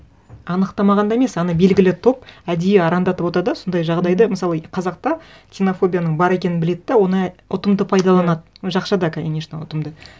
анықтамағанда емес ана белгілі топ әдейі арандатып да сондай жағдайды мысалы қазақта ксенофобияның бар екенін біледі де оны ұтымды пайдаланады жақшада конечно ұтымды